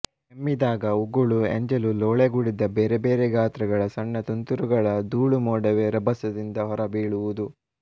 ಕೆಮ್ಮಿದಾಗ ಉಗುಳು ಎಂಜಲು ಲೋಳೆಗೂಡಿದ ಬೇರೆಬೇರೆ ಗಾತ್ರಗಳ ಸಣ್ಣ ತುಂತುರುಗಳ ಧೂಳುಮೋಡವೇ ರಭಸದಿಂದ ಹೊರಬೀಳುವುದು